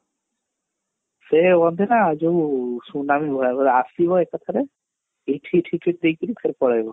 ସେ ଯୋଉ ସୁନାମୀ ଆସିବ ଏକାଥରେ ଫେରେ ପଳେଇବ